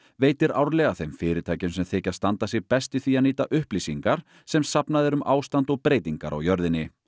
veitir árlega þeim fyrirtækjum sem þykja standa sig best í því að nýta upplýsingar sem safnað er um ástand og breytingar á jörðinni